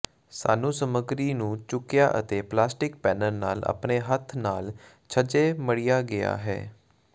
ਸਾਨੂੰ ਸਮੱਗਰੀ ਨੂੰ ਚੁੱਕਿਆ ਅਤੇ ਪਲਾਸਟਿਕ ਪੈਨਲ ਨਾਲ ਆਪਣੇ ਹੱਥ ਨਾਲ ਛੱਜੇ ਮੜ੍ਹਿਆ ਗਿਆ ਹੈ